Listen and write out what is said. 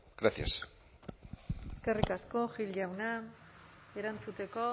gracias eskerrik asko gil jauna erantzuteko